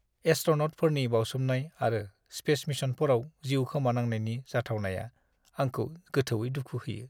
एस्ट्र'न'टफोरनि बावसोमनाय आरो स्पेस मिशनफोराव जिउ खोमानांनायनि जाथावनाया आंखौ गोथौवै दुखु होयो।